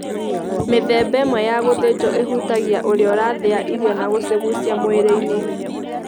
Mĩthemba ĩmwe ya gũthĩnjwo ĩhutagia ũrĩa ũrathĩa irio na gũcigucia mwĩrĩ-inĩ.